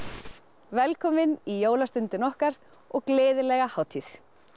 velkomin í Jólastundina okkar og gleðilega hátíð